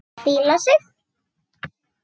Hvíla sig.